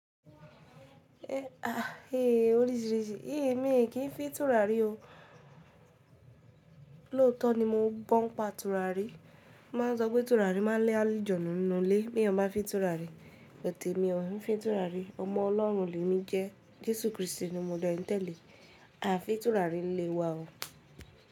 Ahah ehh oríṣiríṣi, è mi ò kí ń fín tùràrí oo. Lóòótọ́ ni mo gbọ́ ń pa turarí. Wọ́n máa ń sọ pé turarí máa lé àlùjànnú nínú ilé bí èyàn bá ń fín turarí. Ṣùgbọ́n èmi ò ń fi turarí. Ọmọ Ọlọ́run ni èmi jẹ́, Jésù Krístì ni mo dẹ́ n tẹ́lẹ̀. A fi ìtura rí nílé wa o.